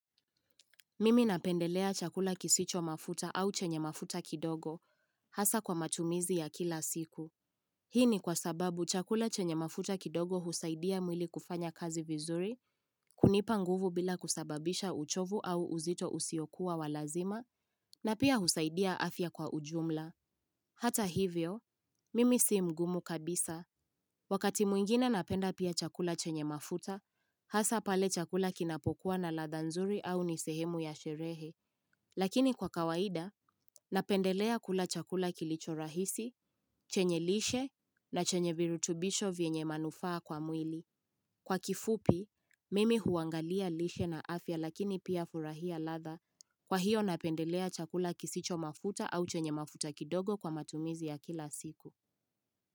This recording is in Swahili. Mimi napendelea chakula kisicho mafuta au chenye mafuta kidogo, hasa kwa matumizi ya kila siku. Hii ni kwa sababu chakula chenye mafuta kidogo husaidia mwili kufanya kazi vizuri, kunipa nguvu bila kusababisha uchovu au uzito usiokuwa walazima, na pia husaidia afya kwa ujumla. Hata hivyo, mimi si mgumu kabisa. Wakati mwingine napenda pia chakula chenye mafuta, hasa pale chakula kinapokuwa na ladha nzuri au nisehemu ya sherehe. Lakini kwa kawaida, napendelea kula chakula kilicho rahisi, chenye lishe na chenye virutubisho vyenye manufaa kwa mwili. Kwa kifupi, mimi huangalia lishe na afya lakini pia furahia ladha kwa hiyo napendelea chakula kisicho mafuta au chenye mafuta kidogo kwa matumizi ya kila siku.